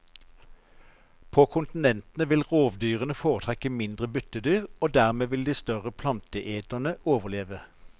På kontinentene vil rovdyrene foretrekke mindre byttedyr og dermed vil de større planteeterene overleve.